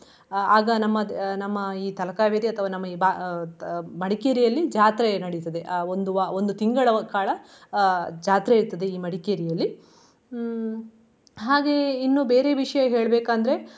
ಆಗ ನಮ್ಮದ್ ನಮ್ಮ ಅಹ್ ನಮ್ಮ ಈ ತಲಕಾವೇರಿ ಅಥವಾ ನಮ್ಮ ಈ ಬಾ~ ಅಹ್ ಮಡಿಕೇರಿಯಲ್ಲಿ ಜಾತ್ರೆ ನಡಿತದೆ ಅಹ್ ಒಂದು ವಾ~ ಒಂದು ತಿಂಗಳು ಕಾಲ ಅಹ್ ಜಾತ್ರೆ ಇರ್ತದೆ ಈ ಮಡಿಕೇರಿಯಲ್ಲಿ. ಹ್ಮ್ ಹಾಗೆ ಇನ್ನು ಬೇರೆ ವಿಷಯ ಹೇಳ್ಬೆಕಂದ್ರೆ.